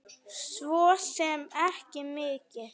Svo sem ekki mikið.